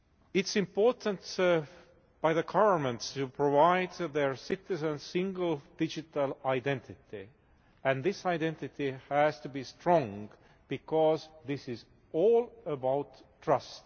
It is important by the governments to provide their citizens with a single digital identity, and this identity has to be strong, because this is all about trust.